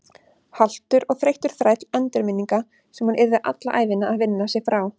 Haltur og þreyttur þræll endurminninga sem hún yrði alla ævina að vinna sig frá.